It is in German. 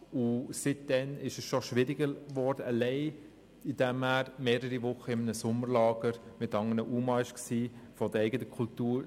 Seit dann ist es schwieriger geworden, allein dadurch, dass er in einem Sommerlager war mit anderen UMA aus dem eigenen Kulturkreis.